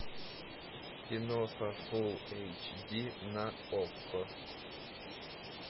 киноха фул эйч ди на окко